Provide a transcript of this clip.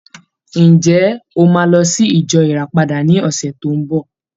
Ǹjẹ́, o máa lọ sí ìjọ Ìràpadà ní ọ̀sẹ̀ tó ń bọ̀?